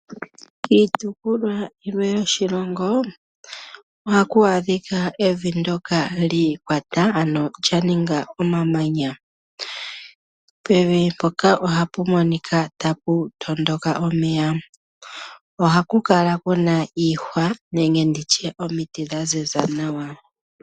Kiitopolwa yilwe yoshilongo ohaku adhika evi ndoka li ikwata ano lya ninga omamanya, pevi mpoka ohapu monika tapu tondoka omeya, ohaku kala kuna iihwa nenge nditye omiti dha ziza nawa.